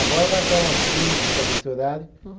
Agora vai até umas cinco, por causa desse horário. Uhum